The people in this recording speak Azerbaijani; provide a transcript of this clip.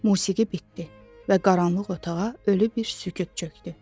Musiqi bitdi və qaranlıq otağa ölü bir sükut çökdü.